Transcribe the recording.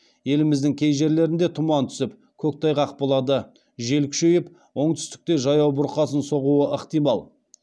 еліміздің кей жерлерінде тұман түсіп көктайғақ болады жел күшейіп оңтүстікте жаяу бұрқасын соғуы ықтимал